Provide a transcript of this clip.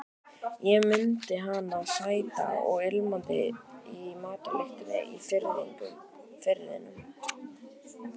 Ég mundi hana sæta og ilmandi í matarlyktinni í Firðinum.